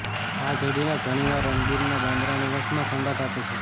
આ જોડીને ઘણીવાર રણબીરના બાંદ્રા નિવાસમાં ઠંડક આપે છે